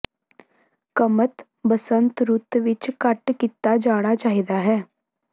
ਕਮਤ ਬਸੰਤ ਰੁੱਤ ਵਿੱਚ ਕੱਟ ਕੀਤਾ ਜਾਣਾ ਚਾਹੀਦਾ ਹੈ